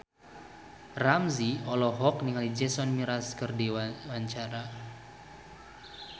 Ramzy olohok ningali Jason Mraz keur diwawancara